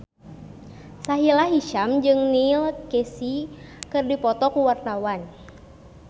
Sahila Hisyam jeung Neil Casey keur dipoto ku wartawan